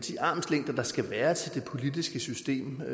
armslængde der skal være til det politiske system der